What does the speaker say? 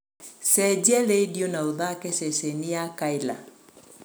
cenjia rĩndiũ na ũthaake ceceni ya kayla